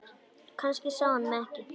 Kannski sá hann mig ekki.